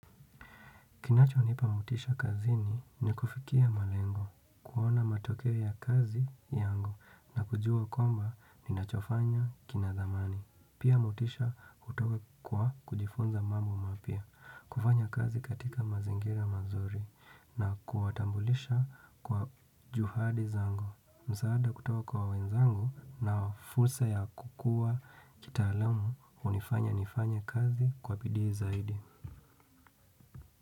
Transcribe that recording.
Kinachonipa motisha kazini ni kufikia malengo, kuona matokeo ya kazi yangu na kujua kwamba ninachofanya kina thamani. Pia motisha hutoka kwa kujifunza mambo mapya, kufanya kazi katika mazingira mazuri na kuwatambulisha kwa juhadi zangu. Msaada kutoka kwa wenzangu na fursa ya kukua kitaalamu hunifanya nifanya kazi kwa bidii zaidi.